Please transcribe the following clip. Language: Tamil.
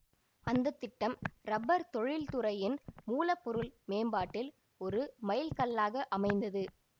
அந்த திட்டம் ரப்பர் தொழில்துறையின் மூலப்பொருள் மேம்பாட்டில் ஒரு மைல்கல்லாக அமைந்தது